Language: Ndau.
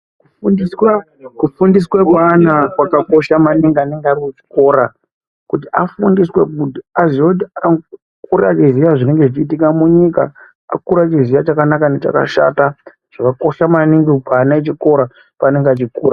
Kufundiswa, kufundiswa kweana kwakakosha maningi anenge ari kuchikora kuti afundiswe mundu azive kuti akure achizive zvinenge zvichiitika munyika, akure achiziva chakanaka nechakashata zvakakosha maningi kuana echikora paanenge achikura.